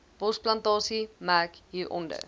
bosplantasie merk hieronder